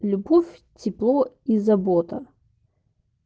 любовь тепло и забота